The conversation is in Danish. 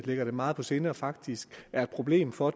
ligger dem meget på sinde og som faktisk er et problem for